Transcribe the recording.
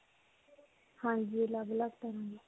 ਹਾਂਜੀ. ਅਲੱਗ-ਅਲੱਗ ਤਰ੍ਹਾਂ ਦੇ.